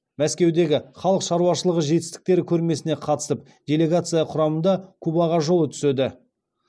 мәскеудегі халық шаруашылығы жетістіктері көрмесіне қатысып делегация құрамында кубаға жолы түседі